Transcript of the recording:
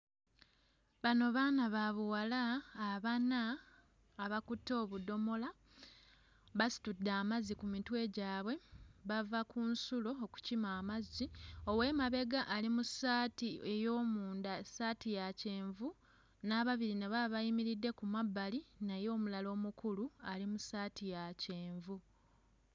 Bano baana ba buwala abana abakutte obudomola basitudde amazzi ku mitwe gwabwe bava ku nsulo okukima amazzi ow'emabega ali mu ssaati ey'omunda ssaati ya kyenvu n'ababiri nabo abayimiridde ku mabbali naye omulala omukulu ali mu ssaati ya kyenvu.